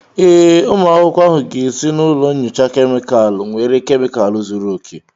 Ee, ụmụ akwụkwọ ahụ ga esi na ụlọ nyocha kemịkalụ nwere kemịkalụ zuru oke